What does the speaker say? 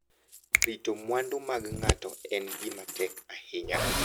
Rito mwandu mag ng'ato en gima tek ahinya.